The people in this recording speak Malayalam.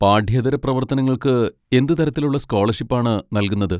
പാഠ്യേതര പ്രവർത്തനങ്ങൾക്ക് എന്ത് തരത്തിലുള്ള സ്കോളർഷിപ്പാണ് നൽകുന്നത്?